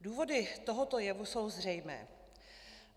Důvody tohoto jevu jsou zřejmé.